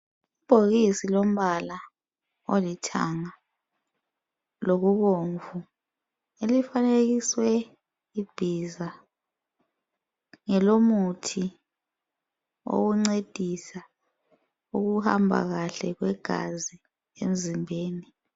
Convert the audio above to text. Ibhokisi lombala olithanga lokubomvu elifanekiswe ibhiza ngelomuthi wokuncedisa ukuhamba kahle kwegazi emzimbeni